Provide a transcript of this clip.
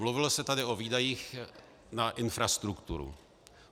Mluvilo se tady o výdajích na infrastrukturu.